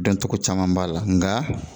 Dan cogo caman b'a la nga